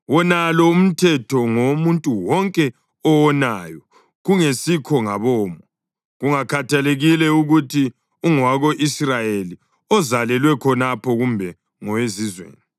Wonalo umthetho ngowomuntu wonke owonayo kungesikho ngabomo, kungakhathalekile ukuthi ungowako-Israyeli ozalelwe khonapha kumbe ngowezizweni.